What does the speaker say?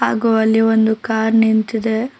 ಹಾಗೂ ಅಲ್ಲಿ ಒಂದು ಕಾರ್ ನಿಂತಿದೆ.